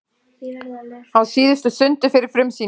Á síðustu stundu fyrir frumsýningu